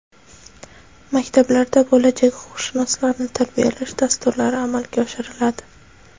Maktablarda bo‘lajak huquqshunoslarni tarbiyalash dasturlari amalga oshiriladi.